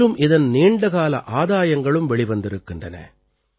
மேலும் இதன் நீண்டகால ஆதாயங்களும் வெளிவந்திருக்கின்றன